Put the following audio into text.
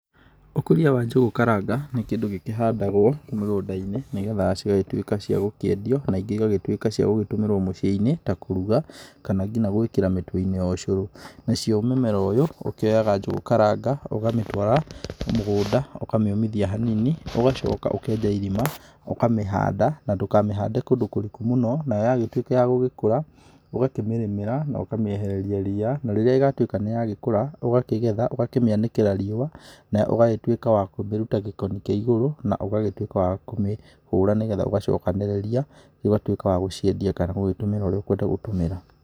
Ũkũria wa njũgũ karanga, nĩ kĩndũ gĩkĩhandagũo, mĩgũnda-inĩ nĩ getha cigagĩtuĩka cia gũkĩendio na ingĩ igagĩtuĩka cia gũgĩtũmĩrũo mũciĩ-inĩ, ta kũruga, kana kinya gũĩkĩra mĩtu-inĩ ya ũcũrũ. Nacio mũmera ũyũ, ũkioyaga njũgũ karanga, ũkamĩtũara mũgũnda, ũkamĩũmithia hanini, ũgacoka ũkenja irima, ũkamĩhanda, na ndũkamĩhande kũndũ kũriku mũno. Nayo yagĩtuĩka ya gũgĩkũra, ũgakĩmĩrĩmĩra na ũkamĩehereria ria, na rĩrĩa ĩgagĩtuĩka niyagĩkũra, ũkamĩgetha, ũkamĩanĩkĩra riũa, nayo ũgagĩtuĩka wa kũmĩruta gĩkoni kĩa igũrũ, na ũagagĩtuĩka wa kũmĩhũra nĩgetha ũgacokanĩrĩria, ũgagĩtuĩka wa gũciendia kana wagũtũmĩra ũrĩa ũkũenda gũtũmĩra.